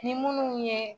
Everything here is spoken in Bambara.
Ni minnu ye